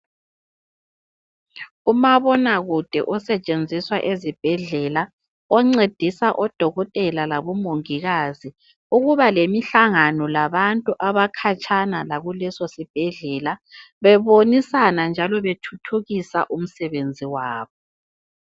Umabonakude osetshenziswa ezibhedlela oncedisa odokotela labomongikazi ukuba lemihlangano labantu abakhatshana lakuleso sibhedlela bebonisana njalo bethuthukisa umsebenzi wabo.